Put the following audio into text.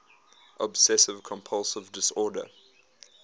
obsessive compulsive disorder